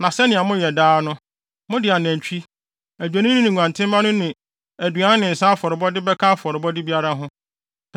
na sɛnea moyɛ no daa no, mode anantwi, adwennini ne nguantenmma no ne aduan ne nsa afɔrebɔde bɛka afɔrebɔde biara ho.